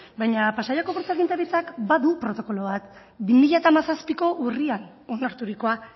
baina pasaiako portu agintaritzak badu protokolo bat bi mila hamazazpiko urrian onarturikoa